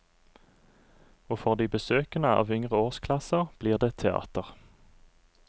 Og for de besøkende av yngre årsklasser, blir det teater.